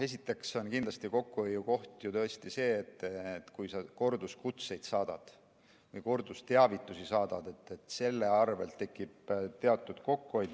Esiteks on kindlasti kokkuhoiukoht see, et kui sa korduskutseid, kordusteavitusi saadad, siis tekib teatud kokkuhoid.